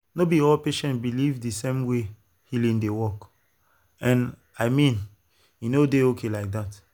no be all patients believe the same way healing dey work and i mean e dey okay like that.